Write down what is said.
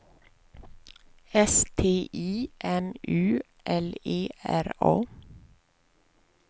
S T I M U L E R A